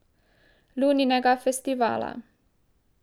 Luninega festivala.